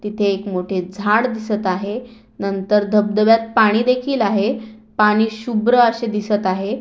तिथे एक मोठे झाड दिसत आहे नंतर धबधब्यात पाणी देखील आहे पाणी शुभ्र अशे दिसत आहे.